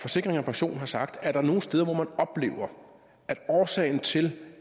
forsikring pension har sagt at er der nogle steder hvor man oplever at årsagen til